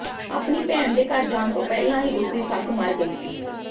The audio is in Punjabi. ਆਪਣੀ ਭੈਣ ਦੇ ਘਰ ਜਾਣ ਤੋਂ ਪਹਿਲਾਂ ਹੀ ਉਸਦੀ ਸੱਸ ਮਰ ਗਈ ਸੀ